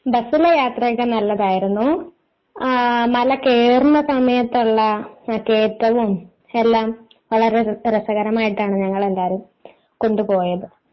ബസിലെ യാത്ര ഒക്കെ നല്ലതായിരുന്നു ആ മലകയറുന്ന സമയത്തുള്ള കേറ്റവും എല്ലാം വളരെ രസകരമായിട്ടാണ്. ഞങ്ങൾ എല്ലാവരും കൊണ്ടുപോയത്.